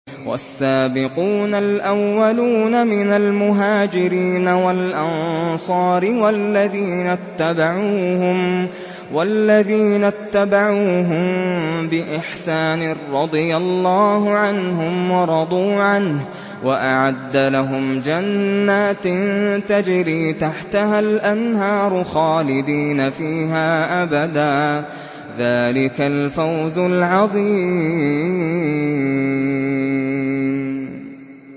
وَالسَّابِقُونَ الْأَوَّلُونَ مِنَ الْمُهَاجِرِينَ وَالْأَنصَارِ وَالَّذِينَ اتَّبَعُوهُم بِإِحْسَانٍ رَّضِيَ اللَّهُ عَنْهُمْ وَرَضُوا عَنْهُ وَأَعَدَّ لَهُمْ جَنَّاتٍ تَجْرِي تَحْتَهَا الْأَنْهَارُ خَالِدِينَ فِيهَا أَبَدًا ۚ ذَٰلِكَ الْفَوْزُ الْعَظِيمُ